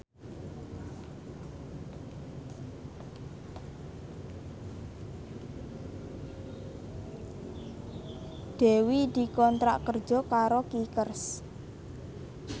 Dewi dikontrak kerja karo Kickers